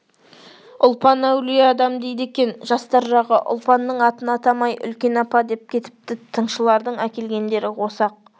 ұлпан әулие адам дейді екен жастар жағы ұлпанның атын атамай үлкен апа деп кетіпті тыңшылардың әкелгендері осы-ақ